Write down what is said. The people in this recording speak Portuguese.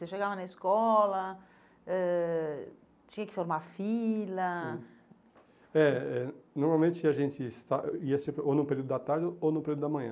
Você chegava na escola, eh tinha que formar fila... Sim. É, é. Normalmente a gente ia no período da tarde ou no período da manhã.